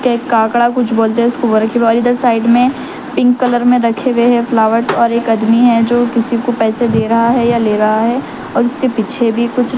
ایک کاکڑا کچھ بولتے ہے اس کو اور ادھر سائیڈ می پنک کلر می رکھے ھوۓ فلوویرس اور ایک آدمی ہے جو کیسکو پیسے دے رہا ہے یا لے رہا ہے اور اسکے پیچھے بھی کچھ--